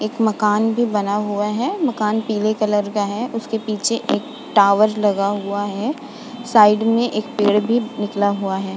एक मकान भी बना हुआ है। मकान पीले कलर का है। उसके पीछे एक टावर लगा हुआ है। साइड में एक पेड़ भी निकला हुआ है।